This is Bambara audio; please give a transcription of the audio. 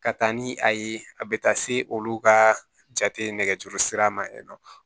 Ka taa ni a ye a bɛ taa se olu ka jate nɛgɛjuru sira ma yen nɔ